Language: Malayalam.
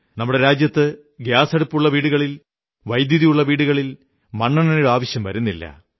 നമ്മുടെ രാജ്യത്ത് ഗ്യാസടുപ്പുള്ള വീടുകളിൽ വൈദ്യുതിയുള്ള വീടുകളിൽ മണ്ണെണ്ണയുടെ ആവശ്യം വരുന്നില്ല